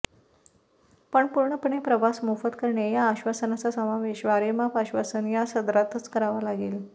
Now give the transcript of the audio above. पण पूर्णपणे प्रवास मोफत करणे या आश्वासनाचा समावेश वारेमाप आश्वासन या सदरातच करावा लागेल